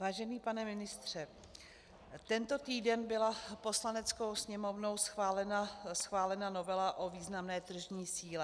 Vážený pane ministře, tento týden byla Poslaneckou sněmovnou schválena novela o významné tržní síle.